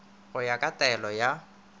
go ya ka taelo ya